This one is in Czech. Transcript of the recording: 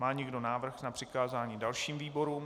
Má někdo návrh na přikázání dalším výborům?